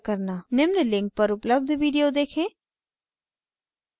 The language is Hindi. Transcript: निम्न लिंक पर उपलब्ध video देखें